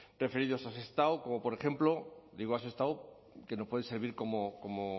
referidos a sestao como por ejemplo digo a sestao que nos puede servir como